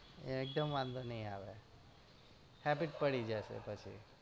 એકદમ વાંધો નઈ આવે habit પડી જશે પછી